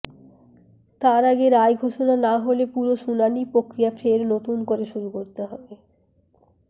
তার আগে রায় ঘোষণা না হলে পুরো শুনানি প্রক্রিয়া ফের নতুন করে শুরু করতে হবে